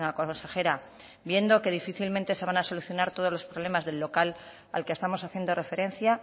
consejera viendo que difícilmente se van a solucionar todos los problemas del local al que estamos haciendo referencia